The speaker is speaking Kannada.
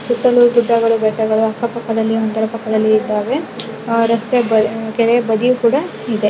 ಸುತ್ತಲೂ ಗುಡ್ಡಗಳು ಬೆಟ್ಟಗಳು ಅಕ್ಕ ಪಕ್ಕದಲ್ಲಿ ಇದ್ದಾವೆ ರಸ್ತೆ ಕೆರೆ ಬದಿ ಕೂಡ ಇದೆ .